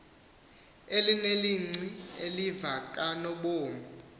elinelinci eliva kanobom